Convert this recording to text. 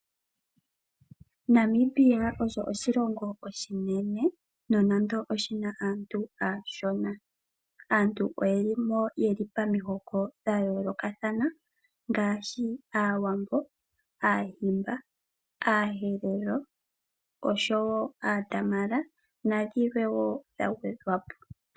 Namibia osho oshilongo oshinene nonando oshina aantu aashona, aantu oyelimo yeli pamihoko dha yoolokathana ngaashi Aawambo, Aadhimba, aaHerero oshowo aaDamara nadhilwe woo dhagwedhwapo.